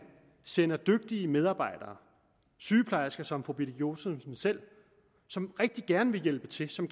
sender dygtige medarbejdere sygeplejersker som fru birgitte josefsen selv som rigtig gerne vil hjælpe til og som